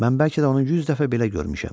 Mən bəlkə də onu yüz dəfə belə görmüşəm.